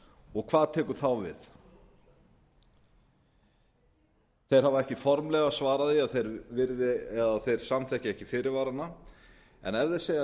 og hvað tekur þá við þeir hafa ekki formlega svarað því að þeir samþykki ekki fyrirvara en ef þeir segja